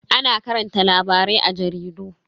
Ana karanta labarai a jaridu.